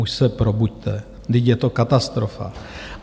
Už se probuďte, vždyť je to katastrofa.